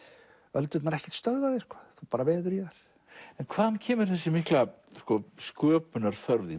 öldurnar ekkert stöðva þig þú bara veður í þær en hvaðan kemur þessi mikla sköpunarþörf þín